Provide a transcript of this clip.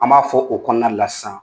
An b'a fɔ o kɔnɔna de la sisan.